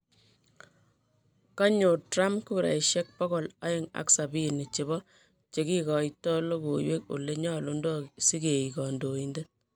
kanyor Trump guraisiek pogol aeng ak sabini chepo cheikaito logoiwek olenyalundo siegi kandoindet